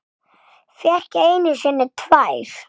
Fékk einu sinni tvær.